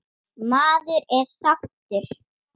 Maður er sáttur.